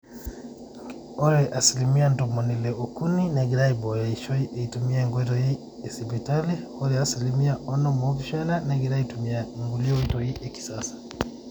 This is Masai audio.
ore asilimia ntomoni ile ookuni negira aaibooyo eishoi eitumia inkoitoi esipitali ore asilimia onom oopishana negira aaitumia nkule oitoi ekisasa